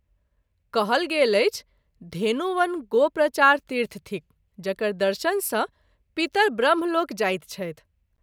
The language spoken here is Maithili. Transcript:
कहल गेल अछि धेनुवन गो प्रचार तीर्थ थिक जकर दर्शन सँ पितर ब्रह्मलोक जाइत छथि।